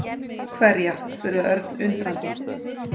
Hverja? spurði Örn undrandi.